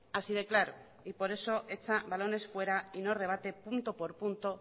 así de claro y por eso echa balones fuera y no rebate punto por punto